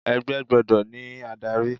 Ẹgbẹ́ gbọ́dọ̀ ní adárí.